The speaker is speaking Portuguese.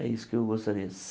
É isso que eu gostaria.